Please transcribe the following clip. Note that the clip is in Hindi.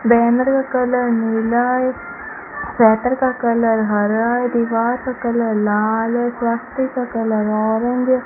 बैनर का कलर नीला है का कलर हरा है दीवार का कलर लाल है स्वास्तिक का कलर ऑरेंज है।